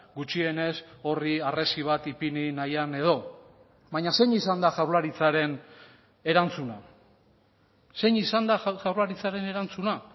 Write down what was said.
gutxienez horri harresi bat ipini nahian edo baina zein izan da jaurlaritzaren erantzuna zein izan da jaurlaritzaren erantzuna